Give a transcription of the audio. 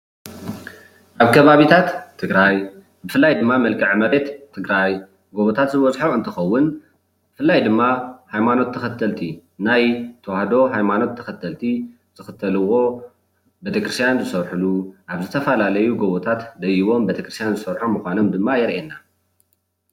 ኣብ ከባቢታት ትግራይ ብፍላይ ድማ ምልክዐ መሬት ትግራይ ጎቦታት ዝበዝሖም እንትከውን ብፍላይ ድማ ሃይማኖት ተከተልቲ ናይ ተዋህዶ ሃይማኖት ተከተልቲ ዝክተልዎ ቤተ ክርስትያን ዝሰርሕሉ ኣብ ዝተፈላለዩ ጎቦታት ደይቦም ቤተ ክርስትያን ዝሰርሑ ከም ምኳኖም ድማ የርእየና፡፡